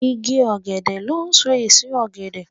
Ìgi ògèdè lón so èso ògèdè.